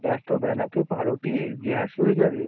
এত বেলাতে পাউরুটি gas হয়ে যাবে।